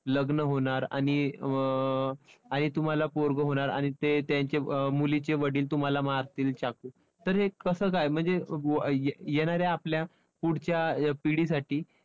लग्न होणार आणि अं आणि तुम्हाला पोरगं होणार आणि ते त्यांचे मुलीचे वडील तुम्हाला मारतील चाकू तर हे कसं काय म्हणजे येणाऱ्या आपल्या पुढच्या पिढीसाठी